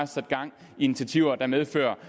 sat gang i initiativer der medfører